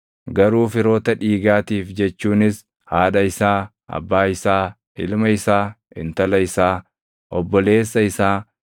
garuu firoota dhiigaatiif jechuunis haadha isaa, abbaa isaa, ilma isaa, intala isaa, obboleessa isaa,